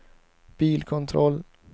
bilkontroll